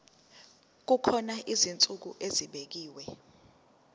kukhona izinsuku ezibekiwe